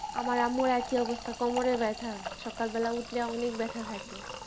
আমার আম্মুর একই অবস্থা কোমরে ব্যাথা সকাল বেলায় উঠলে অনেক ব্যাথা থাকে